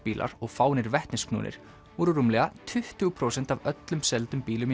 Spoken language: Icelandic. bílar og fáeinir voru rúmlega tuttugu prósent af öllum seldum bílum í